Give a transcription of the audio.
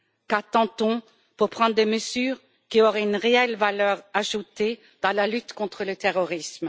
Qu'attend on pour prendre des mesures qui ont une réelle valeur ajoutée dans la lutte contre le terrorisme?